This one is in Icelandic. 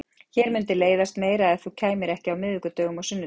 Mér mundi leiðast meira ef þú kæmir ekki á miðvikudögum og sunnudögum.